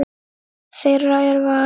Þeirra er valið.